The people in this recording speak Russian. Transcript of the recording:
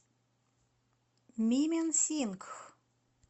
мименсингх